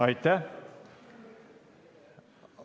Aitäh!